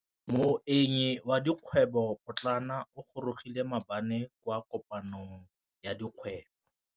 Moêng wa dikgwêbô pôtlana o gorogile maabane kwa kopanong ya dikgwêbô.